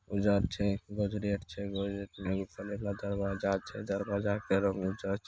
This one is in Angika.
उजल छै गोडरेज छै गोडरेज जे का दरवाजा छै दरवाजा के रंग उजर छै।